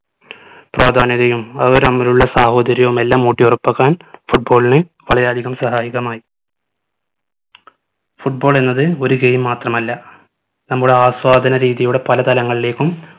പ്രാധാന്യതയും അവർ തമ്മിലുള്ള സാഹോദര്യവും എല്ലാം ഊട്ടി ഉറപ്പാക്കാൻ football ന് വളരെയധികം സഹായകമായി football എന്നത് ഒരു game മാത്രമല്ല നമ്മുടെ ആസ്വാദന രീതിയുടെ പല തലങ്ങളിലേക്കും